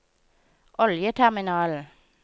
oljeterminalen